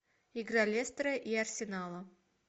игра лестера и арсенала